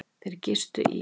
Þeir gistu í